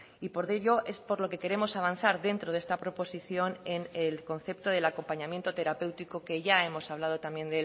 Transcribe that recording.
y por ello es por lo que queremos avanzar dentro de esta proposición en el concepto del acompañamiento terapéutico que ya hemos hablado también